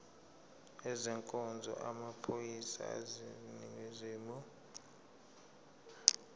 ezenkonzo yamaphoyisa aseningizimu